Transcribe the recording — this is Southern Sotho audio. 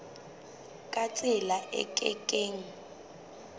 ka tsela e ke keng